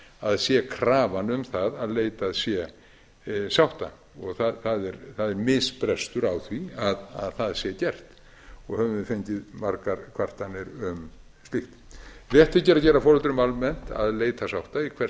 það sé krafan um það að leitað sé sátta það er misbrestur á því að það sé gert og höfum við fengið margar kvartanir um slíkt rétt þykir að gera foreldrum almennt að leita sátta í hvert